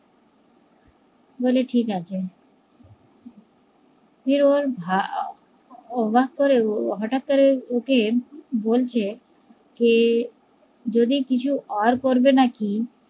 বলে ঠিকাছে ফির ওর অবাক করে হটাৎ করে ওকে বলছে কে যদি কিছু আর করবে নাকি